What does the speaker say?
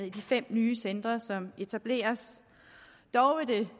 i de fem nye centre som etableres dog vil